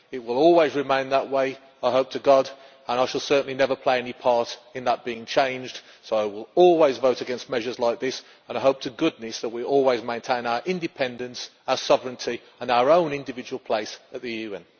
It will always remain that way, I hope to God, and I shall certainly never play any part in that being changed, so I will always vote against measures like this, and I hope to goodness that we always maintain our independence, our sovereignty and our own individual place at the UN.